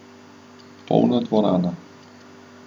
Polna dvorana.